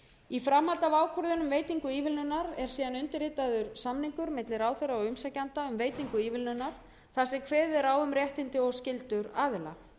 í framhaldi af ákvörðunum um veitingu ívilnunar er síðan undirritaður samningur milli ráðherra og umsækjanda um veitingu ívilnunar þar sem kveður er á um réttindi og skyldur aðila þá